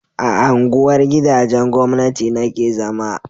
a unguwar gidajen gwamnati na ke zama